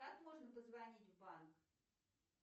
как можно позвонить в банк